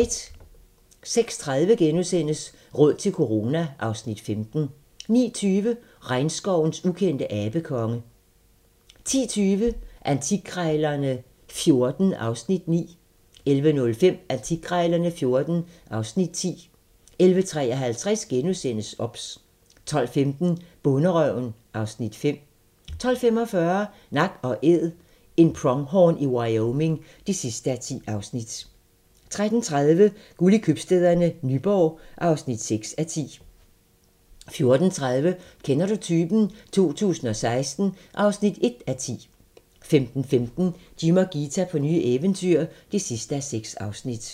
06:30: Råd til corona (Afs. 15)* 09:20: Regnskovens ukendte abekonge 10:20: Antikkrejlerne XIV (Afs. 9) 11:05: Antikkrejlerne XIV (Afs. 10) 11:53: OBS * 12:15: Bonderøven (Afs. 5) 12:45: Nak & Æd - en pronghorn i Wyoming (10:10) 13:30: Guld i Købstæderne - Nyborg (6:10) 14:30: Kender du typen? 2016 (1:10) 15:15: Jim og Ghita på nye eventyr (6:6)